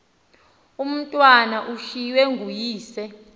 umatwana ushiywe nguyise